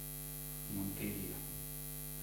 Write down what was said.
монтерия